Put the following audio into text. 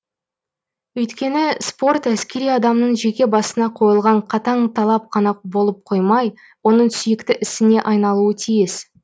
өйткені спорт әскери адамның жеке басына қойылған қатаң талап қана болып қоймай оның сүйікті ісіне айналуы тиіс